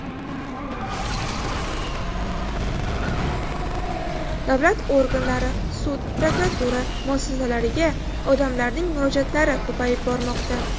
Davlat organlari, sud, prokuratura muassasalariga odamlarning murojaatlari ko‘payib bormoqda.